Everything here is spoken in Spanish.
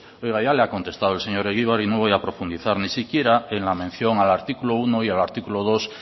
oiga ya le ha contestado el señor egibar y no voy a profundizar ni siquiera en la mención al artículo uno y al artículo dos